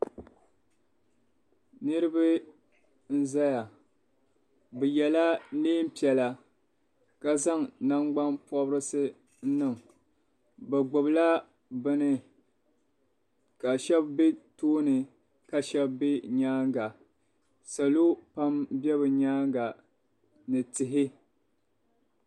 Niribi n zaya bi yɛla niɛn piɛlla ka zaŋ nangbani pɔbirisi n niŋ bi gbibi la bini ka shɛba bɛ tooni ka shɛba bɛ nyɛanga salo pam bɛ bi yɛanga ni tihi